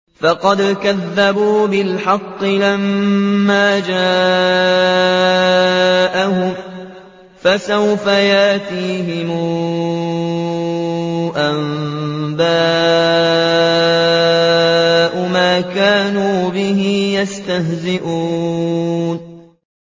فَقَدْ كَذَّبُوا بِالْحَقِّ لَمَّا جَاءَهُمْ ۖ فَسَوْفَ يَأْتِيهِمْ أَنبَاءُ مَا كَانُوا بِهِ يَسْتَهْزِئُونَ